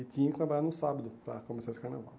E tinha que trabalhar no sábado para compensar esse carnaval.